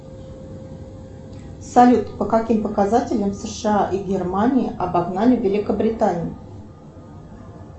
салют по каким показателям сша и германия обогнали великобританию